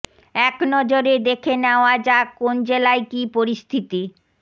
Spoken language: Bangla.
এক নজরে দেখে নেওয়া যাক কোন জেলায় কি পরিস্থিতি